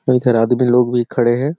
इधर आदमी लोग भी खड़े हैं।